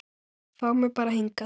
Fá mig bara hingað.